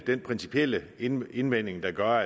den principielle indvending der gør